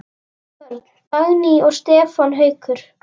Börn: Dagný og Stefán Haukur.